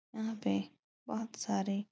यहाँ पे बोहोत सारे --